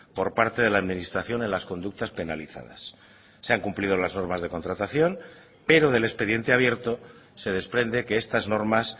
por parte de la administración en las conductas penalizadas se han cumplido las normas de contratación pero del expediente abierto se desprende que estas normas